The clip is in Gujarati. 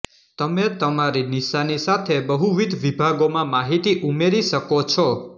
તમે તમારી નિશાની સાથે બહુવિધ વિભાગોમાં માહિતી ઉમેરી શકો છો